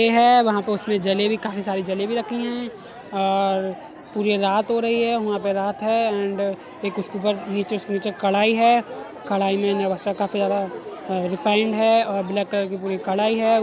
ए है वहाँ पे उसमें जलेबी काफी सारी जलेबी रखीं हैं और पूरे रात हो रही है वहां पे रात है एंड एक उसके ऊपर नीचे उसके नीचे एक कढ़ाई है कढ़ाई में नेवासा काफी ज्यादा रिफाइंड है और ब्लैक कलर की पूरी कढ़ाई है ।